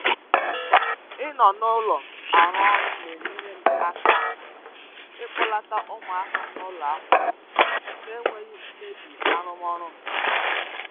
ịnọ n’ụlọ arụ ọrụ na-enyere m aka aka ịkpọlata ụmụaka m n'ụlọ akwụkwọ n’enweghị imebi arụmọrụ m.